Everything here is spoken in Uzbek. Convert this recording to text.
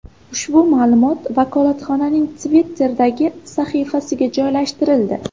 Ushbu ma’lumot vakolatxonaning Twitter’dagi sahifasiga joylashtirildi.